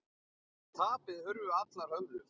Eftir tapið hurfu allar hömlur.